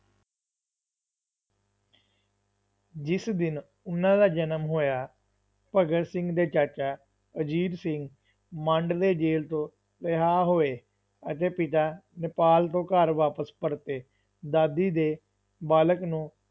ਜਿਸ ਦਿਨ ਉਹਨਾਂ ਦਾ ਜਨਮ ਹੋਇਆ, ਭਗਤ ਸਿੰਘ ਦੇ ਚਾਚਾ ਅਜੀਤ ਸਿੰਘ ਮਾਂਡਲੇ ਜੇਲ੍ਹ ਤੋਂ ਰਿਹਾ ਹੋਏ ਅਤੇ ਪਿਤਾ ਨੇਪਾਲ ਤੋਂ ਘਰ ਵਾਪਿਸ ਪਰਤੇ, ਦਾਦੀ ਦੇ ਬਾਲਕ ਨੂੰ